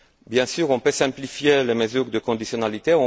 Bien sûr, on peut simplifier les mesures de conditionnalité.